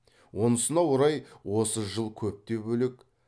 онысына орай осы жыл көп те бөлек